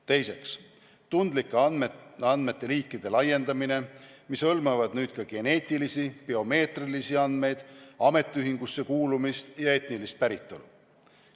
Teiseks, tundlike andmete liikide laiendamine: need hõlmavad nüüd ka geneetilisi ja biomeetrilisi andmeid, ametiühingusse kuulumist ja etnilist päritolu.